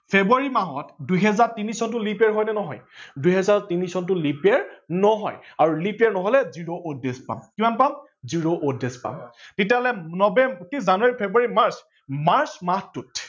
ফেব্ৰুৱাৰী মাহত দুহেজাৰ তিনি চনটো leap year হয় নে নহয়, দুহেজাৰ তিনি চনটো leap year নহয় আৰু leap year নহলে zero odd days পাম কিমান পাম, zero odd days পাম তেতিয়াহলে নবেম্বৰ অ কি জানুৱাৰী, ফেব্ৰুৱাৰী, মাৰ্চ ।মাৰ্চ মাহটোত